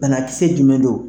Banakisɛ jumɛn don?